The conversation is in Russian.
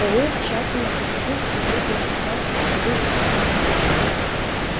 пауэлл тщательно прицелился и трижды нажал спусковую кнопку